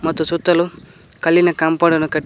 ಮತ್ತು ಸುತ್ತಲೂ ಕಲ್ಲಿನ ಕಾಂಪೊಡ್ ಅನ್ನು ಕಟ್ಟಿ.